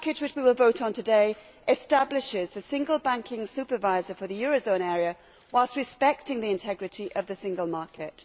This package, which we will vote on today, establishes the single banking supervisor for the eurozone area whilst respecting the integrity of the single market.